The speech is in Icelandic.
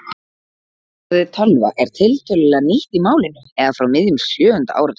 Orðið tölva er tiltölulega nýtt í málinu eða frá miðjum sjöunda áratugnum.